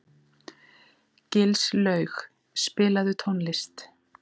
Gilslaug, spilaðu tónlist.